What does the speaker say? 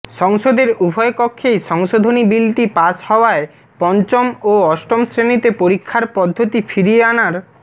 সংসদের উভয় কক্ষেই সংশোধনী বিলটি পাশ হওয়ায় পঞ্চম ও অষ্টম শ্রেণিতে পরীক্ষার পদ্ধতি ফিরিয়ে আনার